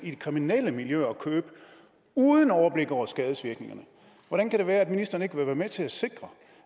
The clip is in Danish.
i de kriminelle miljøer og købe det uden overblik over skadevirkningerne hvordan kan det være at ministeren ikke vil være med til at sikre